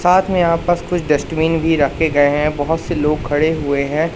साथ में यहाँ पास कुछ डस्टबिन भीं रखें गए हैं बहुत से लोग खड़े हुए हैं।